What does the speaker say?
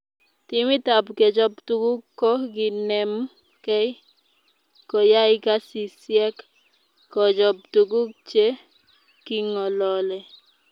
Timit ab kechob tukuk ko kinem ke koyay kasisiek kochop tukuk che kingolole